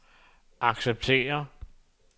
acceptere